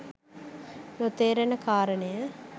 නොතේරෙන කාරණය